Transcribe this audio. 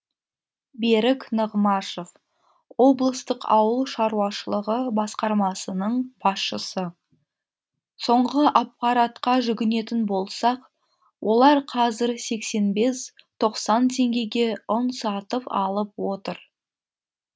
берік нығмашев облыстық ауыл шаруашылығы басқармасының басшысы соңғы аппаратқа жүгінетін болсақ олар қазір сексен бес тоқсан теңгеге ұн сатып алып отыр